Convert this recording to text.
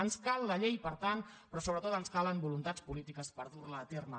ens cal la llei per tant però sobretot ens calen voluntats polítiques per dur la a terme